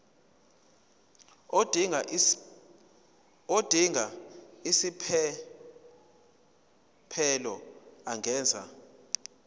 odinga isiphesphelo angenza